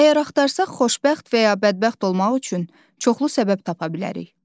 Əgər axtarsaq xoşbəxt və ya bədbəxt olmaq üçün çoxlu səbəb tapa bilərik.